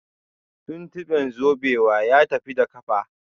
Tuntube zubewa ya tafi da kafa